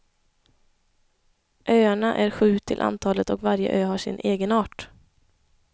Öarna är sju till antalet och varje ö har sin egenart.